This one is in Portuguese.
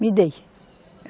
Me dê